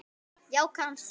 Já, kannski